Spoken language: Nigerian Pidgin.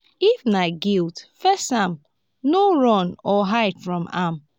if na guilt face am no run or hide from am